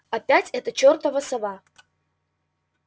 опять эта чертова сова